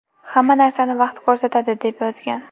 Hamma narsani vaqt ko‘rsatadi”, – deb yozgan.